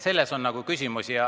Selles on küsimus.